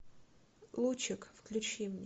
лучик включи мне